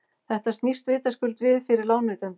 þetta snýst vitaskuld við fyrir lánveitanda